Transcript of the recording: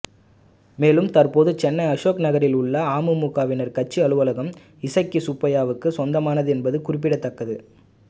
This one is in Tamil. மேலும் தற்போது சென்னை அசோக் நகரில் உள்ள அமமுகவின் கட்சி அலுவலகம் இசக்கி சுப்பையாவுக்கு சொந்தமானது என்பது குறிப்பிடத்தக்கது